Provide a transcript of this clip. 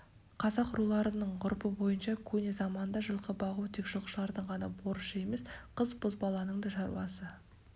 қазақ руларының ғұрпы бойынша көне заманда жылқы бағу тек жылқышылардың ғана борышы емес қыз-бозбаланың да шаруасы